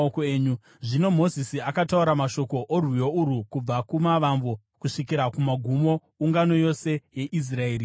Zvino Mozisi akataura mashoko orwiyo urwu kubva kumavambo kusvikira kumagumo, ungano yose yeIsraeri ichinzwa: